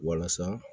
Walasa